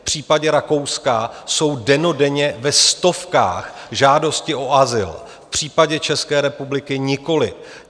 V případě Rakouska jsou dennodenně ve stovkách žádosti o azyl, v případě České republiky nikoliv.